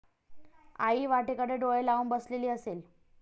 आई वाटेकडे डोळे लावून बसलेली असेल